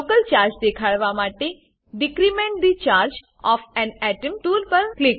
local charge દેખાડવા માટે decrement the charge of an atom tool પર ક્લિક કરો